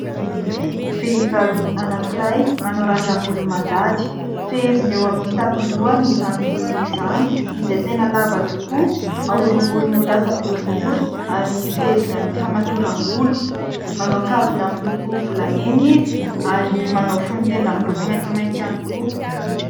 Vehivavy anankiray manao randrambolo mandady ; feheziny eo amin'ny tampondohany izany volony izany, izay tena lava tokoa, aoringoriny ho lasa boribory, ary feheziny amin'ny famatoram-bolo. Manao kavina miloko volamena izy ary manao fonon-tenda miloko maintimainty ihany koa.